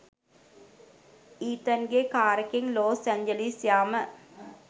ඊතන්ගෙ කාරෙකෙන් Los Angeles යාම.